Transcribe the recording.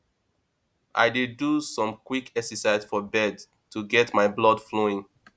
i dey do some quick exercises for bed to get my blood flowing